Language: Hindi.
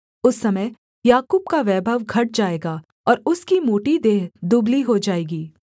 उस समय याकूब का वैभव घट जाएगा और उसकी मोटी देह दुबली हो जाएगी